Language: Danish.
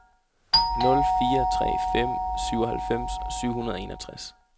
nul fire tre fem syvoghalvfems syv hundrede og enogtres